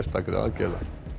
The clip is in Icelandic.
aðgerða